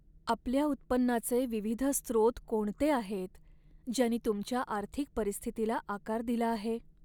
आपल्या उत्पन्नाचे विविध स्त्रोत कोणते आहेत, ज्यांनी तुमच्या आर्थिक परिस्थितीला आकार दिला आहे?